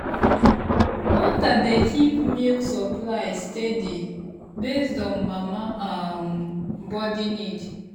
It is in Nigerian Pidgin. water dey keep milk supply steady based on mama um body need.